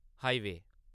highway